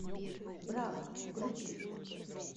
браво включи